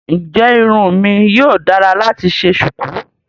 Ǹjẹ́ irun mi yíò dára láti ṣe ṣùkú?